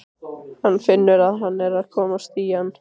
Hann finnur að hann er að komast í ham.